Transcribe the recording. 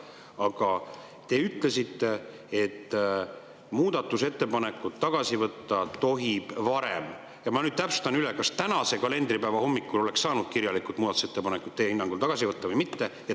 Aga te ütlesite, et muudatusettepanekut tohib tagasi võtta varem, ja ma nüüd täpsustust, kas tänase kalendripäeva hommikul oleks teie hinnangul saanud muudatusettepanekuid kirjalikult tagasi võtta või mitte.